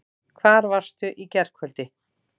Hvar varstu í gærkvöldi?